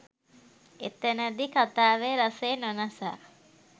එතෙනදී කතාවේ රසය නොනසා